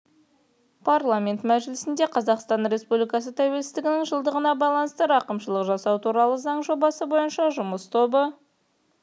парламент мәжілісінде қазақстан республикасы тәуелсіздігінің жылдығына байланысты рақымшылық жасау турал заң жобасы бойынша жұмыс тобы